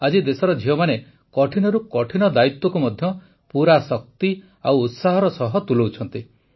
ଆଜି ଦେଶର ଝିଅମାନେ କଠିନରୁ କଠିନ ଦାୟିତ୍ୱକୁ ମଧ୍ୟ ପୁରା ଶକ୍ତି ଓ ଉତ୍ସାହର ସହ ତୁଲାଉଛନ୍ତି